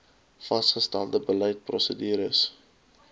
vasgestelde beleid prosedures